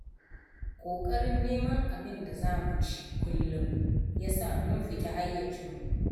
Ƙoƙarin neman abinda za mu ci kullum, ya sa mun fita hayyacinmu.